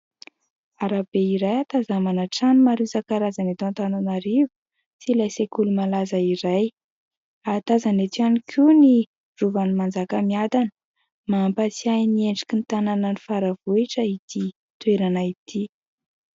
Arabe iray ahatazanana trano maro isan-karazany eto Antananarivo sy ilay sekoly malaza iray ary tazana eto ihany koa ny rovan'ny Manjakamiadana. Mampatsiahy ny endriky ny tanànan'ny Faravohitra ity toerana ity.